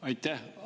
Aitäh!